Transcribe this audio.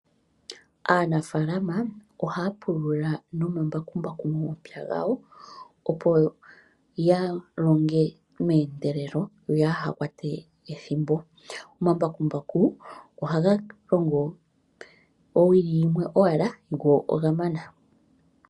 Aanafaalama ohaya pulula nomambakumbaku momapya gawo, opo ya longe meendelelo, yo yaha kwate ethimbo. Omambakumbaku ohaga longo owili yimwe owala, go oga mana.